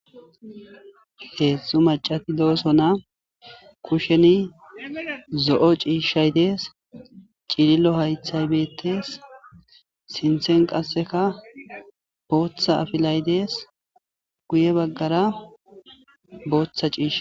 Heedzdzu macati dooso na kusheni zo'o ciishshay dees cilillo haythay beettees sinthen qasseka booththa afilay dees guye baggara booththa ciisha.